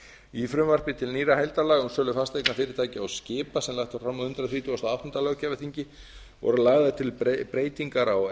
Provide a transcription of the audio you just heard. í frumvarpi til nýrra heildarlaga um sölu fasteigna fyrirtækja og skipa sem lagt var fram á hundrað þrítugasta og áttunda löggjafarþingi voru lagðar til breytingar á